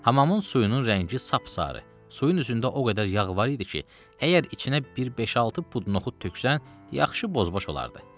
Hamamın suyunun rəngi sap-sarı, suyun üzündə o qədər yağ var idi ki, əgər içinə bir beş-altı pud noxud töksən, yaxşı boz-baş olardı.